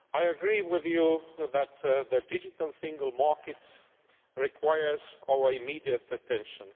I agree with you that the Digital Single Market requires our immediate attention.